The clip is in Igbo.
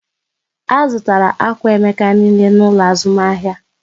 A zụtara akwà Emeka niile n'ụlọ azụmahịa